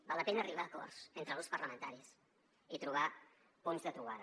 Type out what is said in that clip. val la pena arribar a acords entre grups parlamentaris i trobar punts de trobada